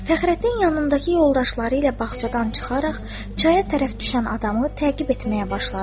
Fəxrəddin yanındakı yoldaşları ilə bağçadan çıxaraq çaya tərəf düşən adamı təqib etməyə başladı.